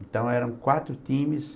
Então, eram quatro times...